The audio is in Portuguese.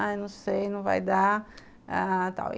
Ai, não sei, não vai dar, ãh, tal.